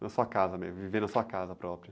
Na sua casa mesmo, viver na sua casa própria.